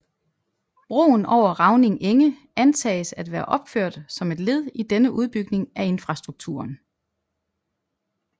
Broen over Ravning enge antages at være opført som et led i denne udbygning af infrastrukturen